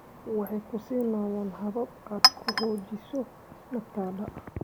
Waxay ku siinayaan habab aad ku xoojiso naftada.